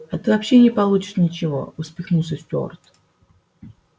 а ты вообще не получишь ничего усмехнулся стюарт